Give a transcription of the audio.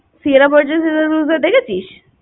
Siearra Burgess Is a Loser দেখেছিস